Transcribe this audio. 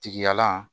Tigiya la